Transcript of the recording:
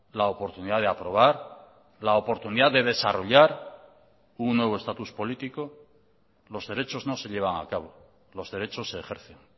la oportunidad de aprobar la oportunidad de desarrollar un nuevo estatus político los derechos no se llevan a cabo los derechos se ejercen